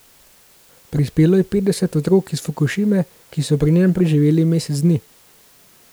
Prispelo je petdeset otrok iz Fukušime, ki so pri njem preživeli mesec dni.